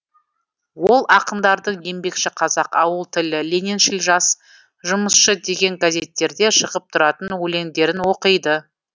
ол ақындардың еңбекші қазақ ауыл тілі лениншіл жас жұмысшы деген газеттерде шығып тұратын өлеңдерін оқиды